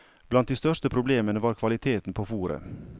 Blant de største problemene var kvaliteten på fôret.